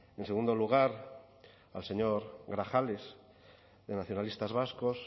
en segundo lugar al señor grajales de nacionalistas vascos